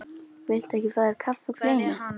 Viltu ekki fá þér kaffi og kleinu?